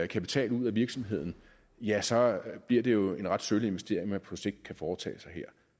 kapital ud af virksomheden ja så bliver det jo en ret sølle investering man på sigt kan foretage her